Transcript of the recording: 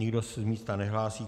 Nikdo se z místa nehlásí.